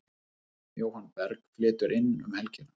Jóhann Berg flytur inn um helgina.